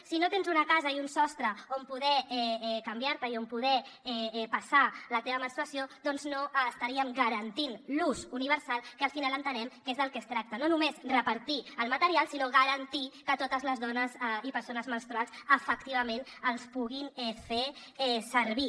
si no tens una casa i un sostre on poder canviar te i on poder passar la teva menstruació no estaríem garantint l’ús universal que al final entenem que és del que es tracta no només repartir el material sinó garantir que totes les dones i persones menstruants efectivament el puguin fer servir